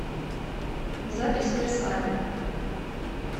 запись версаль